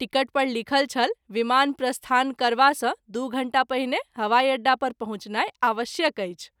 Ticket पर लिखल छल विमान प्रस्थान करबा सँ दू घंटा पहिने हवाई अड्डा पर पहुँचनाई आवश्यक अछि।